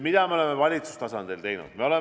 Mida me oleme valitsustasandil teinud?